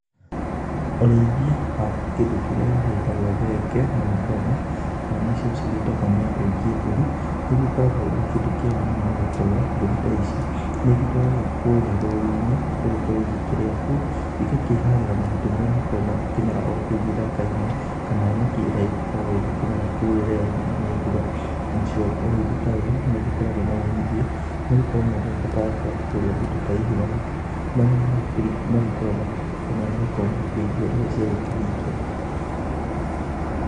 Ũrĩithia wa kĩndũ kĩrĩa gĩgĩtagwo thenge na mĩgoma kana nĩcio cigĩtagwo nĩ andũ aingĩ mbũri. Ũkoragwo ũrĩ kĩndũ kĩega mũno nĩ gũkorwo mbũri ta ici nĩ igĩtwaragwo kũrĩa rũru-inĩ igagĩkorwo igĩkĩrĩa kuo. Iga kĩharĩra mahuti marĩa makoragwo makĩrĩ kũu gĩthaka-inĩ kana nyeki ĩrĩa ĩkoragwo ĩgikĩmera kũu rĩrĩa yaurĩrwo nĩ mbura. Nacio ũrĩithi ta ũyũ nĩ ũgĩkoragwo na umithio, nĩ gũkorwo mũndũ ndagĩbataraga gũkorwo akĩgũrĩra indo ta ici mahuti, marĩa magĩkoragwo makĩgũrwo nĩ arĩa magĩkoragwo makĩriithia iria ciagũkĩhingĩra.